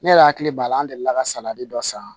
Ne yɛrɛ hakili b'a la an delila ka salati dɔ san